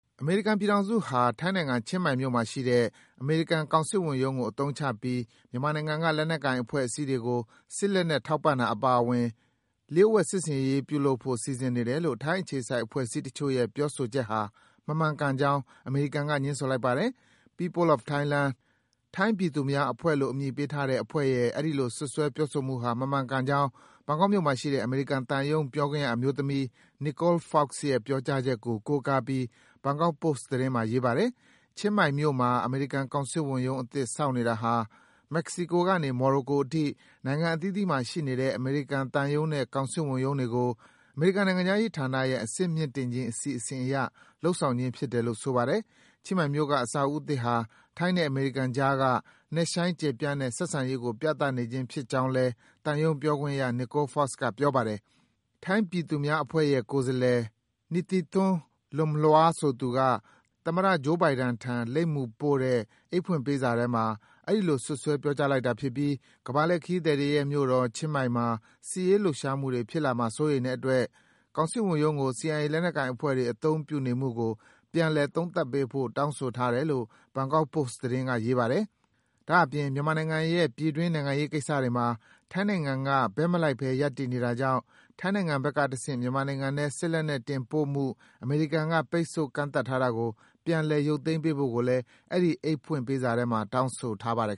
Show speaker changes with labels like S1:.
S1: အမေရိကန်ပြည်ထောင်စုဟာ ထိုင်းနိုင်ငံ၊ ချင်းမိုင်မြို့မှာရှိတဲ့ အမေရိကန် ကောင်စစ်ဝန်ရုံးကိုအသုံးချပြီး မြန်မာနိုင်ငံက လက်နက်ကိုင်အဖွဲ့အစည်းတွေကို စစ် လက်နက်ထောက်ပံ့တာအပါအဝင် လျှို့ဝှက် စစ်ဆင်ရေးလုပ်ဖို့ စီစဉ်နေတယ် လို့ ထိုင်းအခြေစိုက်အဖွဲ့အစည်းတချို့ရဲ့ ပြောဆိုချက်ဟာ မမှန်ကန်ကြောင်း အမေရိကန်က ငြင်းဆိုလိုက်ပါတယ်။ “People of Thailand” ထိုင်းပြည်သူများအဖွဲ့-လို့ အမည်ပေးထားတဲ့ အဖွဲ့ရဲ့ အဲဒီလို စွပ်စွဲပြောဆိုမှုဟာ မမှန်ကန်ကြောင်း ဘန်ကောက်မြို့မှာရှိတဲ့ အမေရိကန်သံရုံး ပြောခွင့်ရအမျိုးသမီး Nicole Fox ရဲ့ ပြောကြားချက်ကို ကိုးကားပြီး Bangkok Post သတင်းမှာ ရေးပါတယ်။ ချင်းမိုင်မြို့မှာ အမေရိကန်ကောင်စစ်ဝန်ရုံးအသစ် ဆောက်နေတာဟာ မက္ကဆီကိုကနေ မော်ရိုကိုအထိ နိုင်ငံအသီးသီးမှာရှိနေတဲ့ အမေရိကန်သံရုံးနဲ့ ကောင်စစ်ဝန်ရုံးတွေကို အမေရိကန်နိုင်ငံခြားရေးဌာနရဲ့ အဆင့်မြင့်တင်ခြင်း အစီအစဉ် အရ လုပ်ဆောင်ခြင်းဖြစ်တယ်လို့ ဆိုပါတယ်။ ချင်းမိုင်မြို့က အဆောက်အဦးသစ်ဟာ ထိုင်းနဲ့အမေရိကန်ကြားက နက်ရှိုင်း ကျယ်ပြန်တဲ့ ဆက်ဆံရေးကို ပြသဖြင်းဖြစ်ကြောင်း သံရုံးပြောခွင့်ရ Nicole Fox က ပြောပါတယ်။ ထိုင်းပြည်သူများအဖွဲ့ရဲ့ကိုယ်စားလှယ် Nitithorn Lumlua ဆိုသူက သမ္မတ Joe Biden ထံ လိပ်မူပြီးပို့တဲ့ အိတ်ဖွင့်ပေးစာထဲမှာ အဲဒီလို စွပ်စွဲ ပြောကြားလိုက်တာဖြစ်ပြီး ကမ္ဘာလှည့်ခရီးသည်တွေရဲ့မြို့တော် ချင်းမိုင်မှာ စစ်ရေးလှုပ်ရှားမှုတွေ ဖြစ်လာမှာ စိုးရိမ်တဲ့အတွက် ကောင်စစ်ဝန်ရုံးကို CIA လက်နက်ကိုင်အဖွဲ့တွေ အသုံးပြုနေမှုကို ပြန်လည် သုံးသပ်ပေးဖို့ တောင်းဆိုထားတယ်လို့ Bangkok Post က ရေးပါတယ်။ ဒါ့အပြင် မြန်မာနိုင်ငံရဲ့ ပြည်တွင်း နိုင်ငံရေးကိစ္စတွေမှာ ထိုင်းနိုင်ငံက ဘက်မလိုက်ဘဲ ရပ်တည်နေတာကြောင့် ထိုင်းနိုင်ငံဘက်ကတဆင့် မြန်မာနိုင်ငံထဲ စစ်လက်နက်တင်ပို့မှု အမေရိကန်က ပိတ်ပင်ကန့်သတ်ထားတာကို ပြန်လည် ရုပ်သိမ်းပေးဖို့ကိုလည်း အဲဒီ အိတ်ဖွင့်ပေးစားထဲမှာ တောင်းဆိုထားပါတယ်